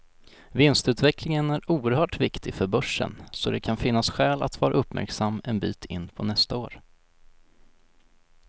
Vinstutvecklingen är oerhört viktig för börsen, så det kan finnas skäl att vara uppmärksam en bit in på nästa år.